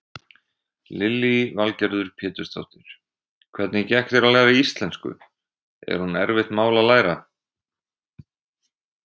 Lillý Valgerður Pétursdóttir: Hvernig gekk þér að læra íslensku, er hún erfitt mál að læra?